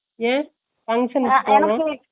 ஏன் ? function வேச்சிட்டுடாங்கலா